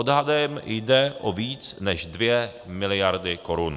Odhadem jde o víc než dvě miliardy korun.